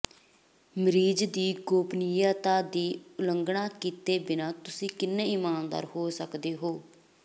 ਮਰੀਜ਼ ਦੀ ਗੋਪਨੀਯਤਾ ਦੀ ਉਲੰਘਣਾ ਕੀਤੇ ਬਿਨਾਂ ਤੁਸੀਂ ਜਿੰਨੀ ਈਮਾਨਦਾਰ ਹੋ ਸਕਦੇ ਹੋ